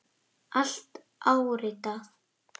Allt áritað.